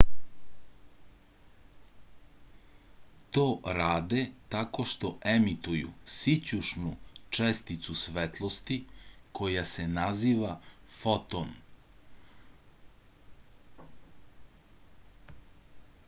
to rade tako što emituju sićušnu česticu svetlosti koja se naziva foton